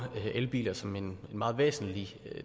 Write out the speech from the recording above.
elbiler som en meget væsentlig